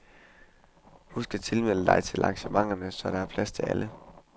Husk at tilmelde dig til arrangementerne, så der er plads til alle.